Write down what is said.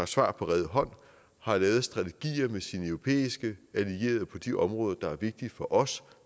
svar på rede hånd og have lavet strategier med sine europæiske allierede på de områder der er vigtige for os